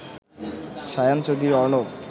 Shayan Chowdhury Arnab